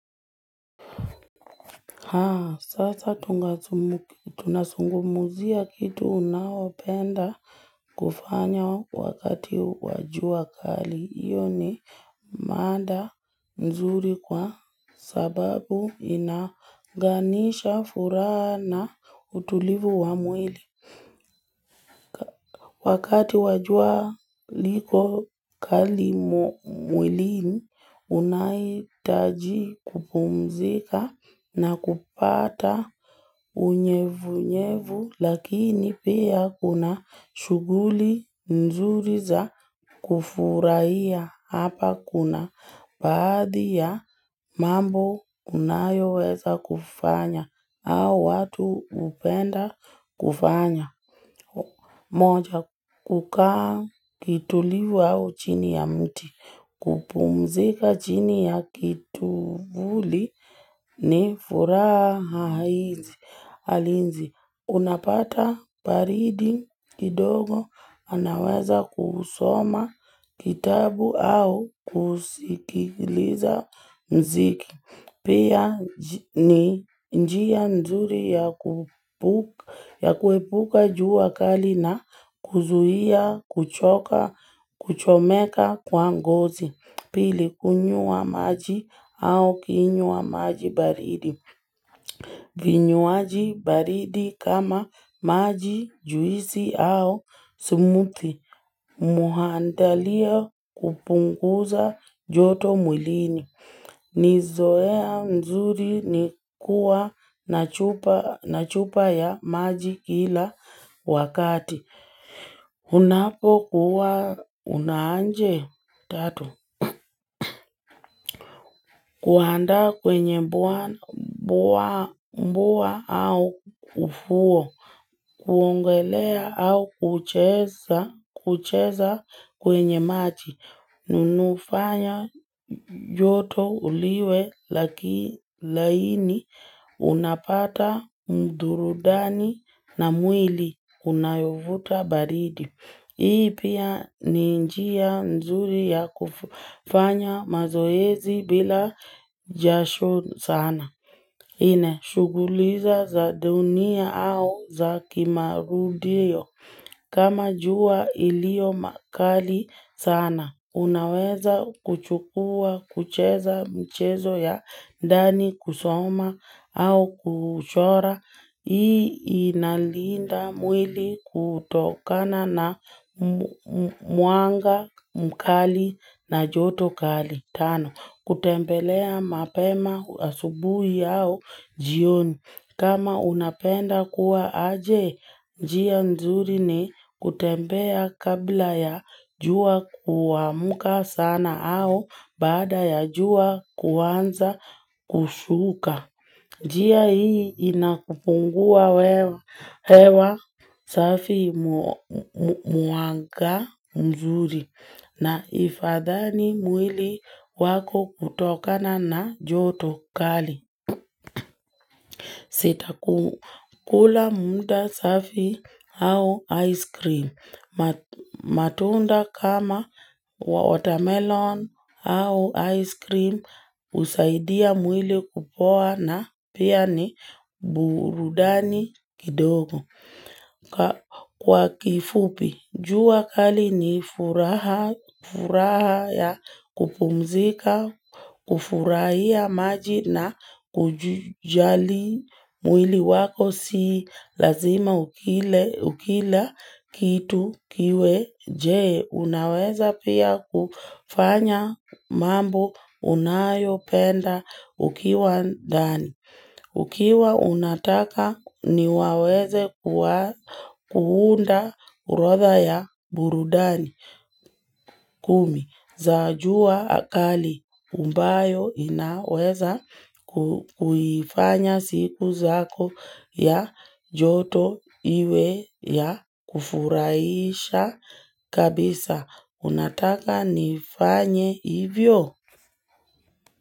Haa, sasa tunasungumzia kitu unaopenda kufanya wakati wa jua kali. Iyo ni manda nzuri kwa sababu inaunganisha furaha na utulivu wa mwili. Wakati wa jua liko kali mwilini, unaitaji kupumzika na kupata unyevunyevu lakini pia kuna shughuli nzuri za kufurahia. Hapa kuna baadhi ya mambo unayoweza kufanya au watu hupenda kufanya moja kukaa kiutulivu au chini ya mti kupumzika chini ya kituvuli ni furaha hizi Alinzi unapata paridi kidogo anaweza kusoma kitabu au kusikiliza mziki Pia ni njia nzuri ya kuepuka jua kali na kuzuia, kuchoka, kuchomeka kwa ngozi Pili kunywa maji au ukinywa maji baridi vinywaji baridi kama maji juisi au smoothie muhandalia kupunguza joto mwilini. Ni zoea mzuri ni kuwa na chupa ya maji kila wakati. Unapokuwa unaanje tatu. Kuandaa kwenye mbuwa au ufuo. Kuongelea au kucheza kwenye maji. Nunufanya joto uliwe laki laini unapata mdurudani na mwili unayovuta baridi. Hii pia ni njia mzuri ya kufanya mazoezi bila jasho sana. Nne, shughuli za dunia au za kimarudio. Kama jua ilio makali sana. Unaweza kuchukua, kucheza mchezo ya ndani kusoma au kuchora. Hii inalinda mwili kutokana na mwanga, mkali na joto kali. Tano, kutembelea mapema asubuhi au jioni. Kama unapenda kuwa aje, njia nzuri ni kutembea kabla ya jua kuamka sana au baada ya jua kuanza kushuka. Njia hii inakupungua hewa safi mwanga mzuri na ifadhani mwili wako kutokana na joto kali. Sitakula muda safi au ice cream. Matunda kama watermelon au ice cream husaidia mwili kupoa na pia ni burudani kidogo. Kwa kifupi, jua kali ni furaha ya kupumzika, kufurahia maji na kujali mwili wako si lazima ukila kitu kiwe jee. Unaweza pia kufanya mambo unayopenda ukiwa ndani. Ukiwa unataka ni waweze kuunda orodha ya burudani kumi za jua kali ambayo inaweza kuifanya siku zako ya joto iwe ya kufuraisha kabisa unataka nifanye hivyo.